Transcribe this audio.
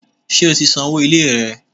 Ṣé o ti san owó ilé rẹ?